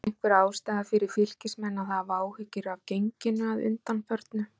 Er einhver ástæða fyrir Fylkismenn að hafa áhyggjur af genginu að undanförnu?